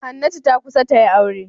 Hannatu ta kusa ta yi aure.